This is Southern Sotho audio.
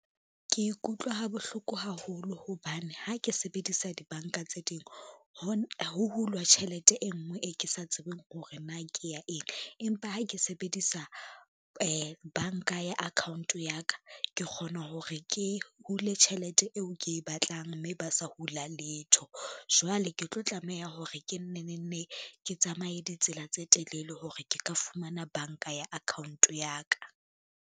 Ke ikutlwa ha bohloko haholo hobane ha ke sebedisa dibanka tse ding, ho hulwa tjhelete e ngwe e ke sa tsebeng hore na ke ya eng, empa ha ke sebedisa banka ya account ya ka, ke kgona hore ke hule tjhelete eo ke e batlang mme ba sa hula letho. Jwale ke tlo tlameha hore ke nne ne ne ke tsamaye ditsela tse telele hore ke ka fumana banka ya account ya ka.